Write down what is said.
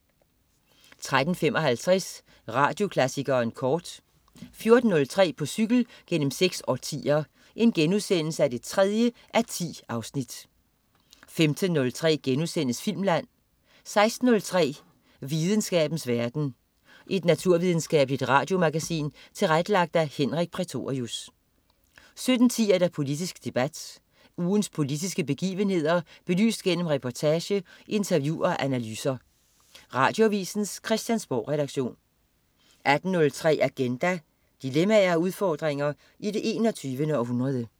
13.55 Radioklassikeren kort 14.03 På cykel gennem seks årtier 3:10* 15.03 Filmland* 16.03 Videnskabens verden. Et naturvidenskabeligt radiomagasin tilrettelagt af Henrik Prætorius 17.10 Politisk debat. Ugens politiske begivenheder belyst gennem reportage, interview og analyser. Radioavisens Christiansborgredaktion 18.03 Agenda. Dilemmaer og udfordringer i det 21. århundrede